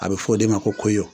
A bɛ f'ɔ de ma ko koyo